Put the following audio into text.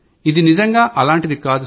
ఇది నిజంగా ఇలాంటిది కాదు